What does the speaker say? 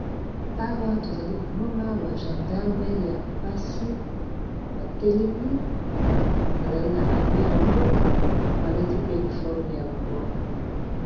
Awa tozali komona ba gendarme ya mpasi batelemi bazali na armé ya bango balati pe uniforme ya bango.